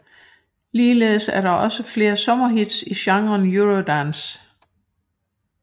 Ligeledes er der også flere sommerhits i genren eurodance